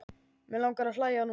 Mig langar að hlæja núna.